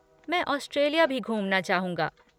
मैं ऑस्ट्रेलिया भी घूमना चाहूँगा।